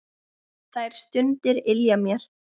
Þær stundir ylja mér.